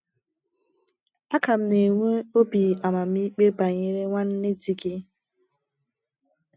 A ka m na-enwe obi amamikpe banyere nwanne di gị.